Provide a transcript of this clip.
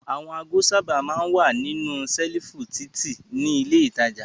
Àwọn ago sábà máa ń wà nínú ṣẹ́lífù títì ní ilé-ìtajà.